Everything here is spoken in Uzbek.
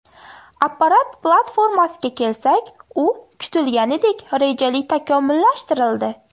Apparat platformasiga kelsak, u kutilganidek, rejali takomillashtirildi.